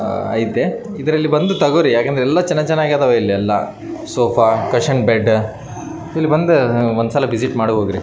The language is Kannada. ಐತೆ ಇದ್ರಲ್ಲಿ ಬಂದು ತಗೋರಿಯ ಯಾಕಂದ್ರೆ ಎಲ್ಲ ಚೆನ್ನಾಗ್ ಚೆನ್ನಾಗ್ ಅದವೇ ಸೋಫಾ ಕುಶನ್ ಬೆಡ್ ಇಲ್ಲಿ ಬಂದು ಒಂದು ವಿಸಿಟ್ ಮಾಡ್ಬೇಕ್ರಿ.